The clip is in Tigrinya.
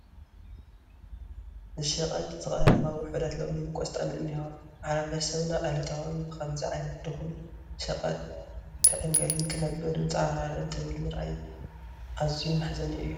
ንሸቐጥ ዝቐረባ ውሑዳት ለሚንን ቆስጣን እኔዋ፡፡ ማሕበረሰብና ዕለታዊ ብኸምዚ ዓይነት ድኹም ሸቐጥ ንዕንገልን ክናበርን ፀዓርዓር እንትብል ምርኣይ ኣዝዩ መሕዘኒ እዩ፡፡